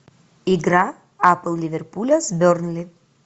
игра апл ливерпуля с бернли